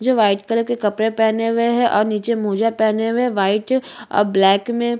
जो white colour के कपडे हुए है और निचे मोजा पहने हुए हैं व्हाइट और ब्लैक में --